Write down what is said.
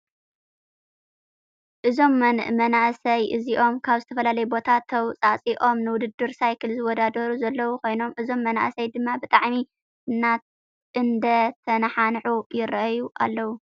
እዞም መናእሰይ እዚኦም ካብ ዝተፈላለየ ቦታ ተውፃእፂኦም ንውድድር ሳይክል ዝወዳደሩ ዘለዉ ኮይኖም እዞም መናእሰይ ድማ ብጣዕሚ እንዳተናሓንሑ ይረአዩ ኣለዉ ።